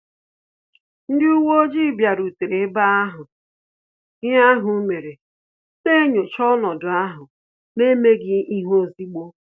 Ndị uwe ojii bịarutere eba ahụ ihe ahụ mere, na-enyocha ọnọdụ ahụ n'emeghi ihe ozigbo